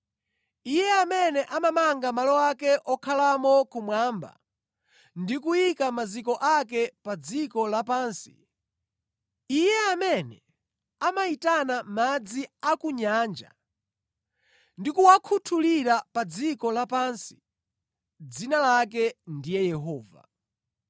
Iye amene amamanga malo ake okhalamo kumwamba, ndi kuyika maziko ake pa dziko lapansi, Iye amene amayitana madzi a ku nyanja ndikuwakhuthulira pa dziko lapansi, dzina lake ndiye Yehova.